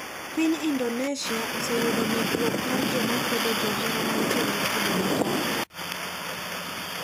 Piny Indonesia oseyudo medruok mar joma kwedo johera mantie gi kido machalre.